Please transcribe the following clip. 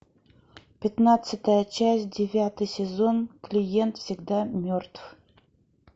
пятнадцатая часть девятый сезон клиент всегда мертв